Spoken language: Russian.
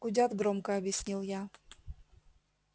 гудят громко объяснил я